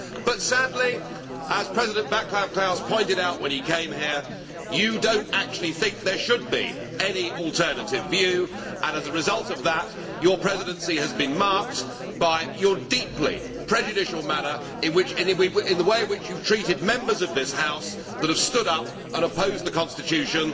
But sadly, as President Václav Klaus pointed out when he came here, you do not actually think there should be any alternative view and, as a result of that, your presidency has been marked by your deeply prejudicial manner in the way in which you have treated the Members of this House who have stood up and opposed the Constitution